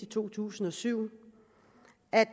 to tusind og syv at